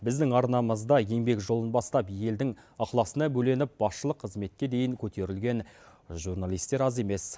біздің арнамызда еңбек жолын бастап елдің ықыласына бөленіп басшылық қызметке дейін көтерілген журналистер аз емес